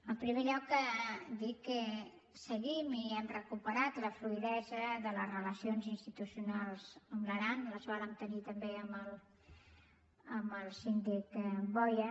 en primer lloc dir que seguim i hem recuperat la fluïdesa de les relacions institucionals amb l’aran les vàrem tenir també amb el síndic boya